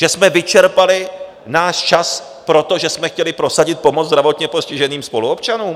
Že jsme vyčerpali náš čas proto, že jsme chtěli prosadit pomoc zdravotně postiženým spoluobčanům.